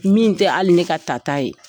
Min tɛ hali ne ka tata ye